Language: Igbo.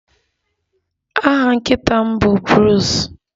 Aha nkịta m bụ Bruce